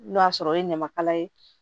N'o y'a sɔrɔ o ye ɲamakala ye